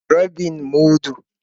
Rabin mudu.